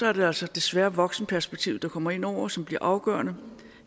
er det altså desværre voksenperspektivet der kommer ind over og som bliver afgørende